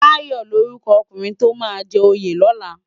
Dayo lórúkò ókúnrin tó má jè óyé lòlá